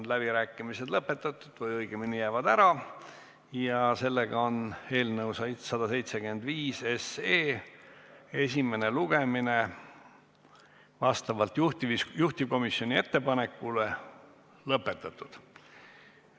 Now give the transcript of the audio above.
Läbirääkimised on lõpetatud või õigemini jäävad ära ja sellega on eelnõu 175 esimene lugemine vastavalt juhtivkomisjoni ettepanekule lõpetatud.